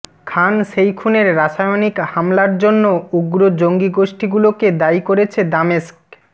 খান শেইখুনের রাসায়নিক হামলার জন্য উগ্র জঙ্গি গোষ্ঠীগুলোকে দায়ী করেছে দামেস্ক